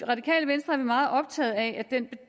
meget optaget af den